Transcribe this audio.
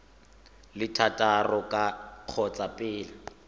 le thataro ka kgotsa pele